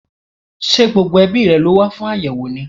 Ṣé gbogbo ẹbíi rẹ̀ ló wá fún àyẹ́wò ni?